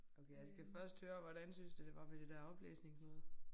Okay jeg skal først høre hvordan syntes du det var med det der oplæsningsnoget